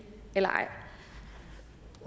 eller